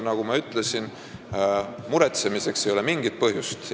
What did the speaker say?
Nagu ma ütlesin, ei ole muretsemiseks mingit põhjust.